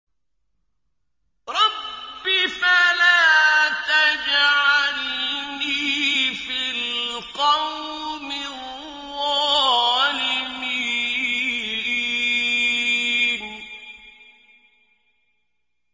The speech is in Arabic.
رَبِّ فَلَا تَجْعَلْنِي فِي الْقَوْمِ الظَّالِمِينَ